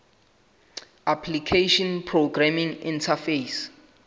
application programming interface